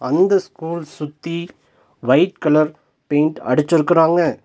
அந்த ஸ்கூல் சுத்தி white colour paint அடிச்சுருக்கராங்க.